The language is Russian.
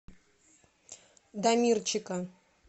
дамирчика